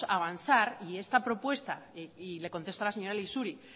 avanzar y esta propuesta y le contesto a la señora lexuri